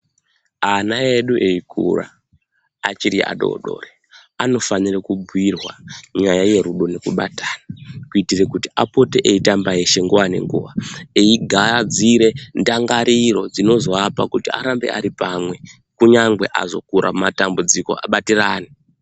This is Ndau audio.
Ana edu eikura achiri adori dori, anofanire kubhuyirwa nyaya yerudo nekubatana kuitire kuti apote eitamba eshe nguva nenguva, eigadzire ndangariro dzinozoapa kuti arambe ari pamwe kunyangwe azokura mumatambudziko abatirane.